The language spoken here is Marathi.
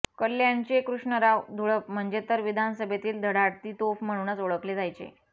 कल्याणचे कृष्णराव धुळप म्हणजे तर विधानसभेतील धडाडती तोफ म्हणूनच ओळखले जायचे